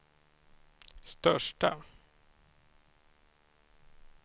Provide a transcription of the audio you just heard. största